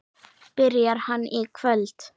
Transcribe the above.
Byrjar hann í kvöld?